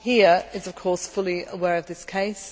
here is of course fully aware of this case